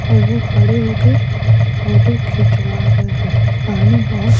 और वह खड़े होके फोटो खिंचवा रहे हैं पानी बहुत --